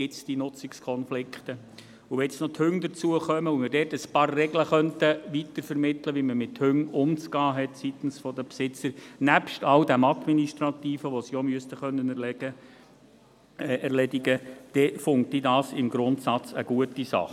Wenn jetzt noch die Hunde hinzukommen und man dort ein paar Regeln weitervermitteln könnte, wie man seitens der Besitzer mit Hunden umzugehen hat, nebst all dem Administrativen, das sie auch erledigen können müssten, dann finde ich das im Grundsatz eine gute Sache.